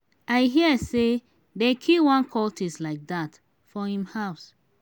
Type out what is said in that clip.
i hear say dey kill one cultist like dat for him house